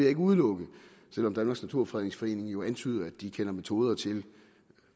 ikke udelukke selv om danmarks naturfredningsforening jo antyder at de kender metoder til